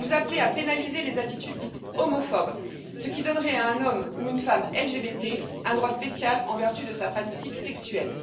Vous appelez à pénaliser les attitudes dites homophobes, ce qui donnerait à un homme ou à une femme LGBT un droit spécial en vertu de sa pratique sexuelle.